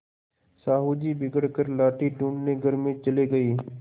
साहु जी बिगड़ कर लाठी ढूँढ़ने घर में चले गये